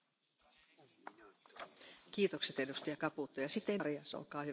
la composition, car les mégots de cigarettes sont de véritables fléaux pour l'environnement.